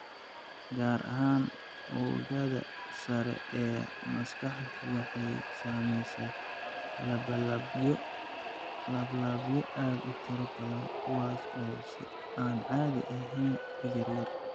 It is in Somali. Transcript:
Gaar ahaan, oogada sare ee maskaxdu waxa ay samaysaa laalaabyo aad u tiro badan kuwaas oo si aan caadi ahayn u yaryar.